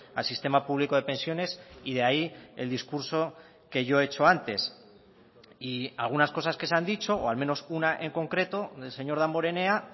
al sistema público de pensiones y de ahí el discurso que yo he hecho antes y algunas cosas que se han dicho o al menos una en concreto del señor damborenea